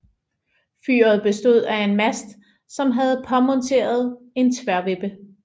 Fyret bestod af en mast som havde påmonteret en tværvippe